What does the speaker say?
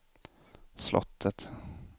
slottet